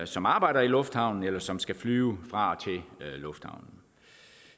som arbejder i lufthavnen eller som skal flyve fra og til lufthavnen